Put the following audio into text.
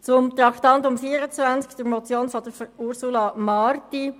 Zu Traktandum 24, der Motion Marti: